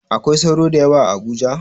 Akwai sauro da yawa a Abuja?